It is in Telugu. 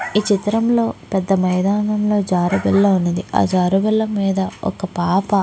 ఈ చిత్రం లో ఒక మైదానం లో ఒక ఉన్నది ఆ మీద ఒక పాపా--